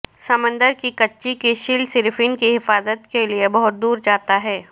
سمندر کی کچھی کی شیل صرف ان کی حفاظت کے لئے بہت دور جاتا ہے